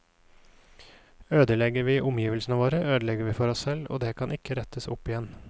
Ødelegger vi omgivelsene våre, ødelegger vi for oss selv, og det kan ikke rettes opp igjen.